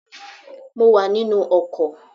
I'm in a bus